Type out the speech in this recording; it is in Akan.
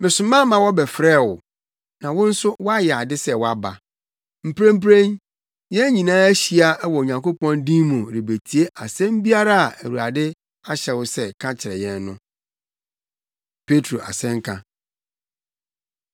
Mesoma ma wɔbɛfrɛɛ wo, na wo nso woayɛ ade sɛ woaba. Mprempren, yɛn nyinaa ahyia wɔ Onyankopɔn din mu rebetie asɛm biara a Awurade ahyɛ wo sɛ ka kyerɛ yɛn no.” Petro Asɛnka